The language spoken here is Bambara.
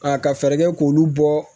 A ka fɛɛrɛ kɛ k'olu bɔ